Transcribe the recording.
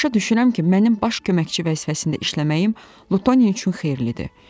Başa düşürəm ki, mənim baş köməkçi vəzifəsində işləməyim Lutonia üçün xeyirlidir.